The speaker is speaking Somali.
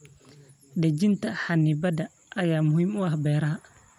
Dejinta xannibaadaha ayaa muhiim u ah beeraha.